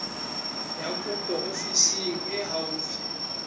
ya kopo ofising e haufi